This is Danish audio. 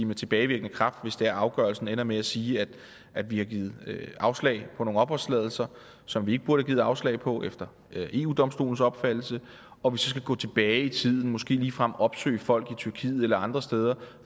med tilbagevirkende kraft jeg afgørelsen ender med at sige at vi har givet afslag på nogle opholdstilladelser som vi ikke burde have givet afslag på efter eu domstolens opfattelse og vi så skal gå tilbage i tiden og måske ligefrem opsøge folk i tyrkiet eller andre steder